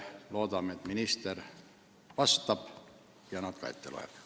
Loodame, et minister vastab neile ja loeb need ka ette.